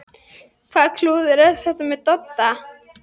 Hvaða klúður er þetta með Dodda?